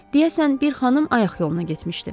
Deyəsən bir xanım ayaq yoluna getmişdi.